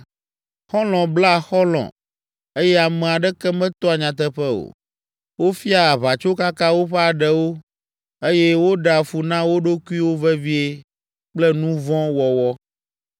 Xɔlɔ̃ blea xɔlɔ̃ eye ame aɖeke metoa nyateƒe o. Wofia aʋatsokaka woƒe aɖewo eye woɖea fu na wo ɖokuiwo vevie kple nu vɔ̃ wɔwɔ.